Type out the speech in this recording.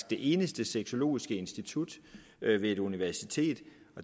det eneste sexologiske institut ved et universitet